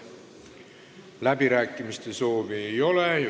Läbirääkimiste soovi ei ole.